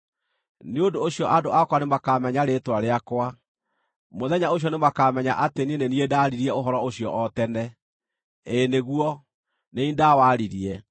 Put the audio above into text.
“Nĩ ũndũ ũcio andũ akwa nĩmakamenya rĩĩtwa rĩakwa; mũthenya ũcio nĩmakamenya atĩ nĩ niĩ ndaaririe ũhoro ũcio o tene. Ĩĩ nĩguo, nĩ niĩ ndawaririe.”